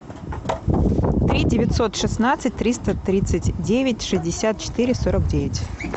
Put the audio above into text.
три девятьсот шестнадцать триста тридцать девять шестьдесят четыре сорок девять